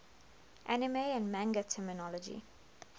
anime and manga terminology